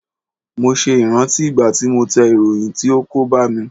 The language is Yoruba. Mo ṣe ìrántí ìgbà tí mo tẹ ìròyìn tí ó kó bá mi.